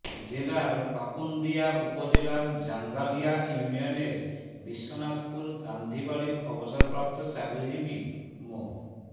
জেলার পাকুন্দিয়া উপজেলার জাঙ্গালিয়া ইউনিয়নের বিশ্বনাথপুর গান্ধী বাড়ির অবসরপ্রাপ্ত চাকরিজীবী মো